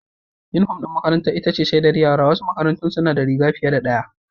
Unifom ɗin makarantar ita ce shaidar yara, wasu makarantun suna da rigar fiye da ɗaya.